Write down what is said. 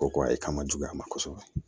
O ko e ka ma juguya ma kɔsɛbɛ